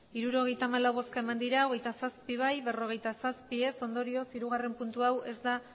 hirurogeita hamalau bai hogeita zazpi ez berrogeita zazpi ondorioz hirugarrena puntu hau ez da